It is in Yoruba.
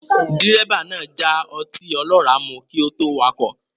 Dírẹ́bà náà já ọtí ọlọ́rà mu kí ó tó wakọ̀